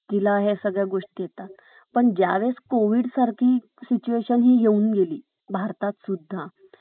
तिला ह्या सगळ्या गोष्टी येतात . पण ज्या वेळेस कोविड सारखी सिचुएशन हि येऊन गेली भारतात सुद्धा